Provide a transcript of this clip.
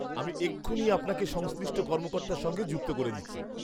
আমি এক্ষুনি আপনাকে সংশ্লিষ্ট কর্মকর্তার সঙ্গে যুক্ত করে দিচ্ছি।